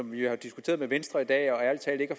vi jo har diskuteret med venstre i dag og ærlig talt ikke